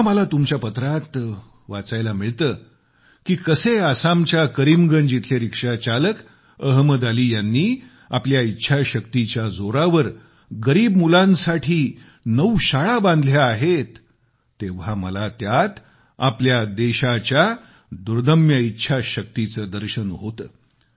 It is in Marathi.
जेव्हा तुमच्या पत्रात मला वाचायला मिळत की कसे आसामच्या करीमगंज इथले रिक्षाचालक अहमद अली यांनी आपल्या इच्छाशक्तीच्या जोरावर गरीब मुलांसाठी नऊ शाळा बनवल्या आहेत तेव्हा मला त्यात आपल्या देशाच्या दुर्दम्य इच्छाशक्तीचे दर्शन होते